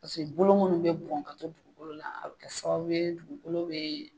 Paseke bolo minnu bɛ bon ka to dugukolo la, a bɛ kɛ sababu ye dugukolo bɛ